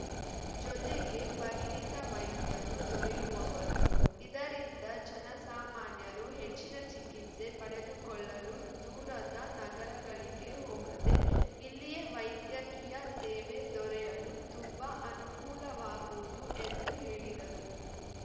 ಜೊತೆಗೆ ಪರಿಣಿತ ವೈದ್ಯರು ದೊರೆಯುವರು ಇದರಿಂದ ಜನಸಾಮಾನ್ಯರು ಹೆಚ್ಚಿನ ಚಿಕಿತ್ಸೆ ಪಡೆದುಕೊಳ್ಳಲು ದೂರದ ನಗರಗಳಿಗೆ ಹೋಗದೇ ಇಲ್ಲಿಯೇ ವೈದ್ಯಕೀಯ ಸೇವೆ ದೊರೆಯಲು ತುಂಬಾ ಅನುಕೂಲವಾಗುವುದು ಎಂದು ಹೇಳಿದರು